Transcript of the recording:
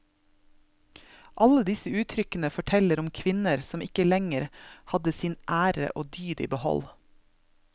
Alle disse uttrykkene forteller om kvinner som ikke lenger hadde sin ære og dyd i behold.